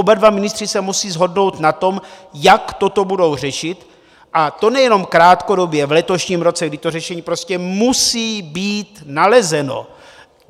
Oba dva ministři se musí shodnout na tom, jak toto budou řešit, a to nejenom krátkodobě, v letošním roce, kdy to řešení prostě musí být nalezeno!